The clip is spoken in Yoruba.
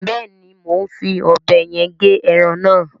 Beeni, mo n fí òbé yen ge eran na